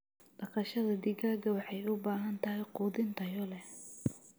Dhaqashada digaaga waxay u baahan tahay quudin tayo leh.